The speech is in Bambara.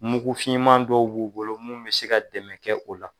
Mugu finman dɔw b'u bolo mun be se ka dɛmɛ kɛ o la.